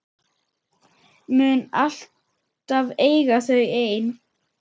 Mun alltaf eiga þau ein.